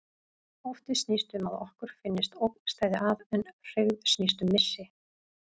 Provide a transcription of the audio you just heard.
Ótti snýst um að okkur finnst ógn steðja að, en hryggð snýst um missi.